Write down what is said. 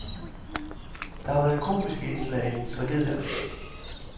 Der har været komiske indslag i tragedierne.